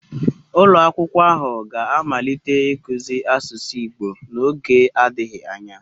Ulo akwukwo ahu ga-amalite ikuzi asusu igbo n'oge adighi anya